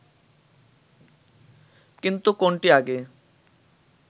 কিন্তু কোনটি আগে